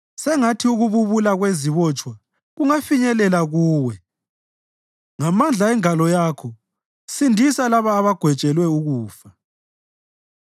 Sengathi ukububula kwezibotshwa kungafinyelela kuwe; ngamandla engalo yakho sindisa labo abagwetshelwe ukufa.